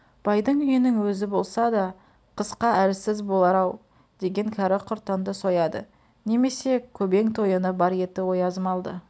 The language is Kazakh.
байдың үйінің өзі болса да қысқа әлсіз болар-ау деген кәрі-құртанды сояды немесе көбең тойыны бар еті ояз малды